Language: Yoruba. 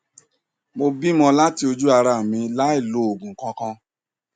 mo bímo láti ojú ara mi láì lo òògùn kankan